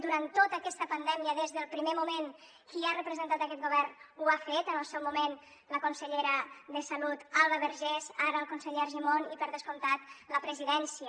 durant tota aquesta pandèmia des del primer moment qui ha representat aquest govern ho ha fet en el seu moment la consellera de salut alba vergés ara el conseller argimon i per descomptat la presidència